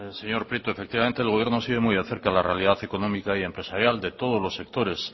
señor prieto efectivamente el gobierno sigue muy de cerca la realidad económica y empresarial de todos los sectores